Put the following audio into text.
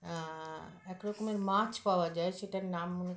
আআ একরকমের মাছ পাওয়া যায় সেটার নাম মনে